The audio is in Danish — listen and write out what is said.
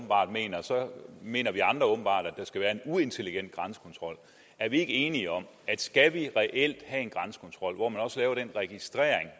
så mener vi andre åbenbart at der skal være en uintelligent grænsekontrol er vi ikke enige om at skal vi reelt have en grænsekontrol hvor man også laver den registrering